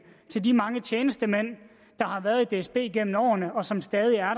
til de mange tjenestemænd der har været i dsb gennem årene og som stadig er